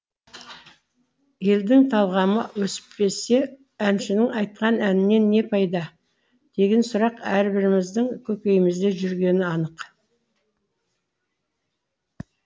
елдің талғамы өспесе әншінің айтқан әнінен не пайда деген сұрақ әрбіріміздің көкейімізде жүргені анық